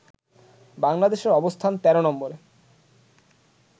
বাংলাদেশের অবস্থান ১৩ নম্বরে